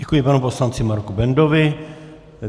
Děkuji panu poslanci Marku Bendovi.